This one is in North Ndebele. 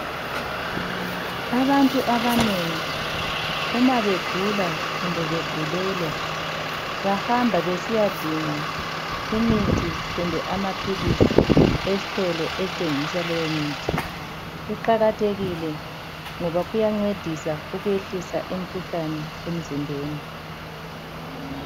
Abantu abanengi uma begula kumbe begulelwa ,bahamba besiyadinga imithi kumbe amaphilisi estolo esithengisa leyo mithi. Kuqakathekile ngoba kuyancedisa ukwehlisa imikhuhlane emzimbeni.